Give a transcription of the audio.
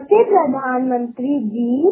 नमस्कार पंतप्रधान नरेंद्र मोदीजी